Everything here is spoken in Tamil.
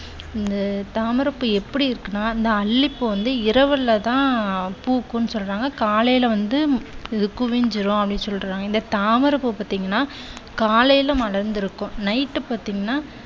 இந்த தாமரைப் பூ எப்படி இருக்குன்னா அந்த அல்லிப்பூ வந்து இரவில தான் பூக்கும்ன்னு சொல்றாங்க. காலைல வந்து இது குவிந்துவிடும் அப்படின்னு சொல்றாங்க. இந்த தாமரைப்பூ பாத்தீங்கண்ணா காலைல மலர்ந்து இருக்கும் night பாத்தீங்கண்ணா